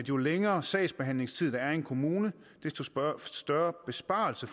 jo længere sagsbehandlingstid der er i en kommune desto større besparelse